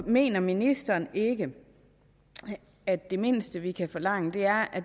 mener ministeren ikke at det mindste vi kan forlange er at